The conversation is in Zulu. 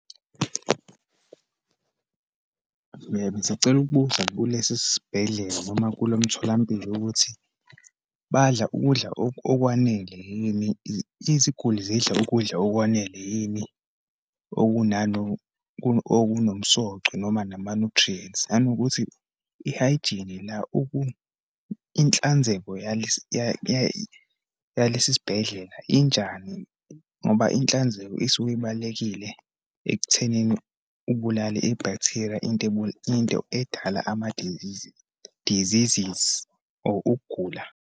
Bengisacela ukubuza kulesi sibhedlela noma kulo mtholampilo ukuthi badla ukudla okwanele yini, iziguli zidla ukudla okwanele yini okunomsoco, noma nama-nutrients? Nanokuthi, i-hygiene la inhlanzeko yalesi sibhedlela njani? Ngoba inhlanzeko isuke ibalulekile ekuthenini ubulale i-bacteria into into edala ama-disease, diseases, or ukugula.